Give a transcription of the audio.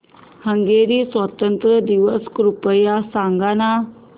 Hungary स्वातंत्र्य दिवस कृपया सांग ना